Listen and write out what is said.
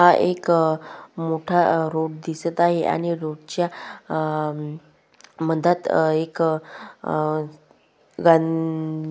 हा एक अ मोठा रोड दिसत आहे आणि रोडच्या अ मधात एक अ गां --